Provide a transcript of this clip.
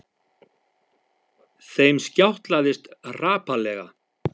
Þeim skjátlaðist hrapallega.